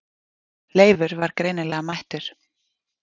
Leifur var greinilega mættur.